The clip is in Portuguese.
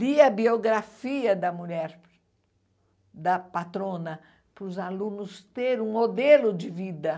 Lia a biografia da mulher, da patrona, para os alunos terem um modelo de vida.